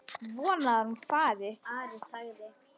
Vonar að hún fari.